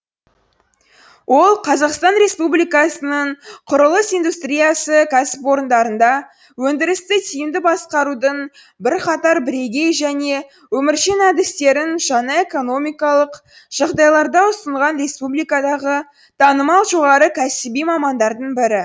ол қазақстан республикасының құрылыс индустриясы кәсіпорындарында өндірісті тиімді басқарудың бірқатар бірегей және өміршең әдістерін жаңа экономикалық жағдайларда ұсынған республикадағы танымал жоғары кәсіби мамандардың бірі